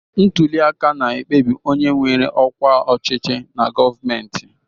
Ntuli aka na-ekpebi onye nwere ọkwa ọchịchị na gọọmentị.